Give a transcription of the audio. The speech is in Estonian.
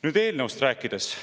Nüüd, eelnõust rääkides.